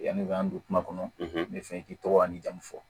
Yanni k'an don kuma kɔnɔ n bɛ fɛ k'i tɔgɔ n'i jamu fɔ